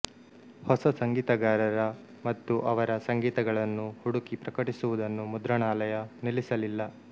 ಹೊಸ ಸಂಗೀತಗಾರರ ಮತ್ತು ಅವರ ಸಂಗೀತಗಳನ್ನು ಹುಡುಕಿ ಪ್ರಕಟಿಸುವುದನ್ನು ಮುದ್ರಣಾಲಯ ನಿಲ್ಲಿಸಲಿಲ್ಲ